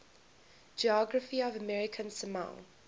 geography of american samoa